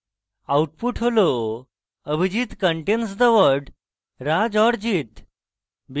output হল abhijit contains the word raj or jit